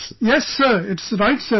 Yes sir, it is right sir